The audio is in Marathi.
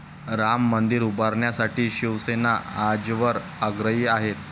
राम मंदिर उभारणीसाठी शिवसेना आजवर आग्रही आहे.